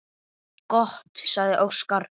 Gott, sagði Óskar.